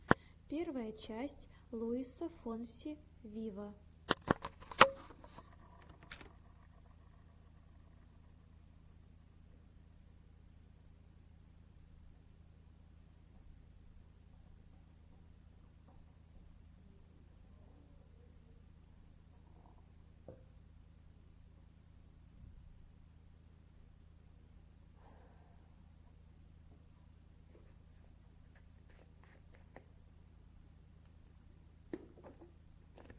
первая часть луиса фонси виво